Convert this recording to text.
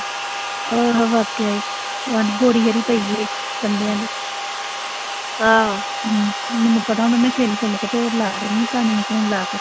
ਹੋਰ ਵਾਕਿਆ ਈ, ਬੋਰੀ ਪਈ ਏ ਗੰਡਿਆਂ ਦੀ ਮੈਨੂੰ ਪਤਾ ਇਨ੍ਹਾਂ ਨੇ ਛਿੱਲ-ਛਿੱਲ ਕੇ ਢੇਰ ਲਾ ਦੇਣਾ, ਕੰਨ ਨੂੰ ਫੋਨ ਲਾ ਕੇ